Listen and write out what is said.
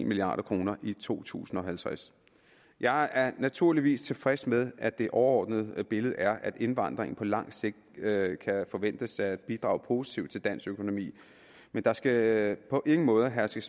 milliard kroner i to tusind og halvtreds jeg er naturligvis tilfreds med at det overordnede billede er at indvandringen på lang sigt kan forventes at bidrage positivt til dansk økonomi men der skal på ingen måde herske